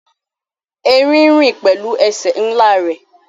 Erin rin pẹlu ẹsẹ nla rẹ